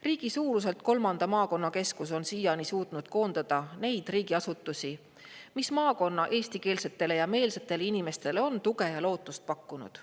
Riigi suuruselt kolmas maakonnakeskus on siiani suutnud koondada neid riigiasutusi, mis maakonna eestikeelsetele ja ‑meelsetele inimestele on tuge ja lootust pakkunud.